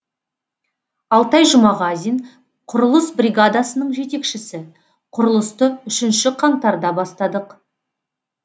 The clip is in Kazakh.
алтай жұмағазин құрылыс бригадасының жетекшісі құрылысты үшінші қаңтарда бастадық